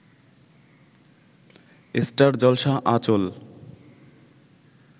star Jalsha Anchal